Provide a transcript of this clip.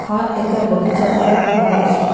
हा एका बगिच्यातला भाग असून --